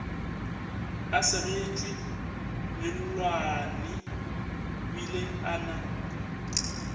a segetšwe mellwaneebile a na